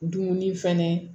Dumuni fɛnɛ